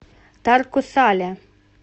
тарко сале